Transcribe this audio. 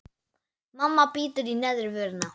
Mamma bítur í neðri vörina.